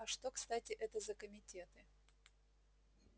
а что кстати это за комитеты